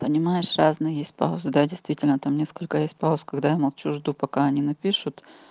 понимаешь разные есть паузы да действительно там несколько есть пауз когда я молчу жду пока они напишут